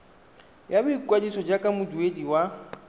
ya boikwadiso jaaka moduedi wa